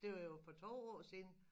Det var jo for 2 år siden